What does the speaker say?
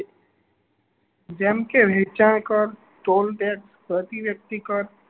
જેમ કે વેચાણ કર toll tax પ્રતિવ્યક્તિ કર